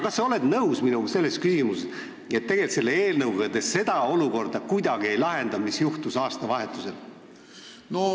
Kas sa oled minuga nõus selles küsimuses, et tegelikult te selle eelnõuga ei lahenda kuidagi seda olukorda, mis juhtus aastavahetusel?